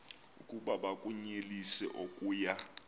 oku bakunyelise okuya